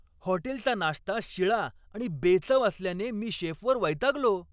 हॉटेलचा नाश्ता शिळा आणि बेचव असल्याने मी शेफवर वैतागलो.